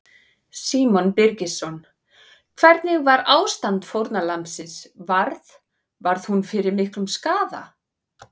Símon Birgisson: Hvernig var ástand fórnarlambsins, varð, varð hún fyrir miklum skaða?